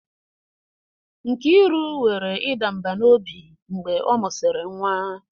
Nkiru nwere ịda mbà n'obi mgbe ọ mụsịrị nwa.